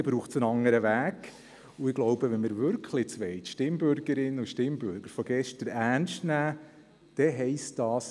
Dort braucht es einen anderen Weg, und ich glaube, wenn wir nun wirklich die Stimmbürgerinnen und Stimmbürger von gestern ernst nehmen wollen, dann heisst dies: